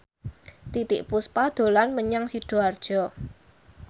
Titiek Puspa dolan menyang Sidoarjo